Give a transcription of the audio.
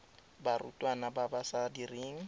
barutwana ba ba sa direng